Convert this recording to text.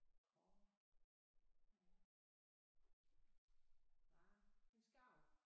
Kormoran en skarv